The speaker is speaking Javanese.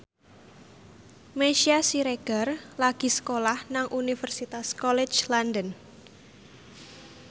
Meisya Siregar lagi sekolah nang Universitas College London